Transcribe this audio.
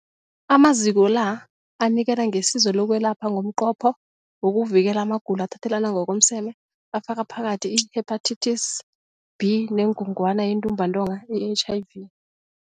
Amaziko la anikela ngesizo lokwelapha ngomnqopho wokuvikela amagulo athathelana ngokomseme afaka phakathi i-Hepatitis B neNgogwana yeNtumbantonga, i-HIV.